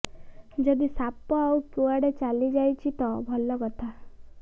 ଯଦି ସାପ ଆଉ କୁଆଡ଼େ ଚାଲିଯାଉଛି ତ ଭଲ କଥା